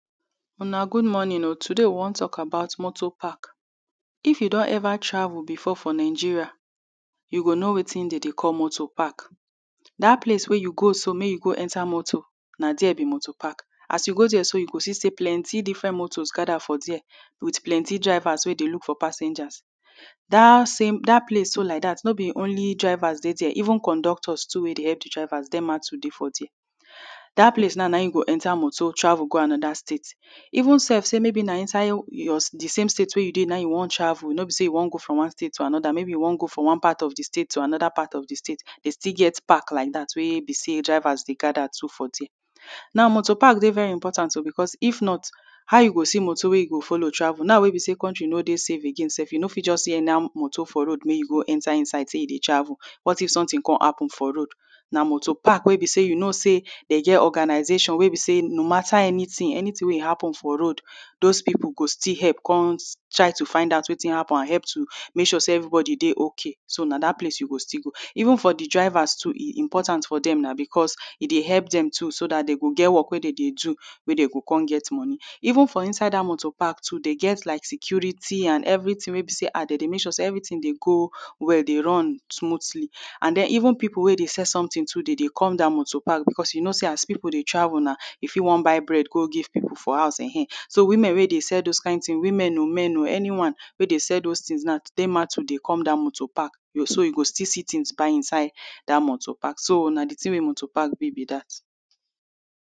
Una good morning o, today we wan talk about motor park. If you don ever travel before for Nigeria, you go know wetin dem dey call motor park. Dat place wey you go so, make you go enter motor, na there be motor park. As you go there so, you go see say plenty different motor gather for there with plenty drivers wey dey look for passengers. Dat same, dat place so like dat, no be only drivers dey there, even conductors too wey dey help di drivers too dey for there. Dat place now na im you go enter motor travel go another state. Even self say maybe na inside your, di same state na im you wan travel no be say you wan go from one state to another, maybe you wan go from one part of di state to another part of di state, dey still get park like dat wey be say drivers dey gather too for there. Now motor park dey very important o because if not, how you go see motor wey you go follow travel, now wey be say country no dey safe again, you no fit just see anyhow motor for road make you go enter inside say you dey travel. What if something come happen for road? Na motor park wey be say you no say dem get organization wey be say, no matter anything, anything wey e happen for road those people go still help come try to find out wetin happen and help to make sure say everybody dey okay. So na dat place you go still go. Even for di drivers too e important for dem na because e dey help dem too so dat dem go get work wey dey dey do, wey dey go come get money. Even for inside dat motor park too, dem get like security and everything wey be say, Ah! Dem dey make sure say everything dey go well, dey run smoothly; and then, even people wey dey sell something too, dey dey come dat motor park because you know say as people dey travel na, you fit wan buy bread go give people for house,[um]ehn! So women wey dey sell those kain tin, women o, men, anyone wey dey sell those tins now too dey come dat motor park, so you go still see tins buy inside dat motor park. So na di tin wey motor park be be dat.